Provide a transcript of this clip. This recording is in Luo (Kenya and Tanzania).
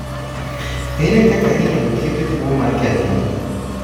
Ere kaka inyalo thiedh tuwo mar kedhno?